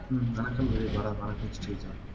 வணக்கம் கிரிபாலா வணக்கம் ஸ்ரீஜா